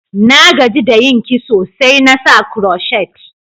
Na gaji da yin kiso, sai na sa crotchet.